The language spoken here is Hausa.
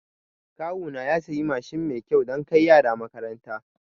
Kawuna ya siya Mashin mai kyau dan kai yara makaranta